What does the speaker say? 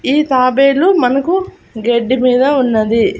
ఈ తాబేలు మనకు గెడ్డి మీద ఉన్నది.